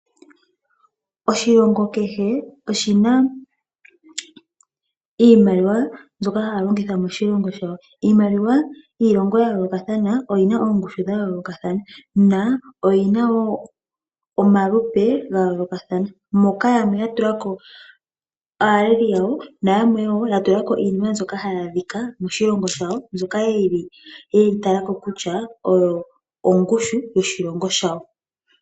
Oshilongo kehe oshi na iimaliwa mbyoka haa longitha moshilongo shawo. Iimaliwa yiilongo ya yoolokathana oyi na ongushu ya yoolokathana na oyina woo omalupe gayoolokathana moka yamwe ya tulako aaleli yawo nayamwe woo ya tulako iinima mbyoka ha yi adhika moshilongo shawo mbyoka ye yi talako kutya oyo ongushu yoshilongo shawo